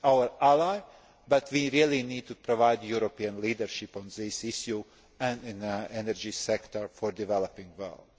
of. It is our ally but we really need to provide European leadership on this issue and in the energy sector for the developing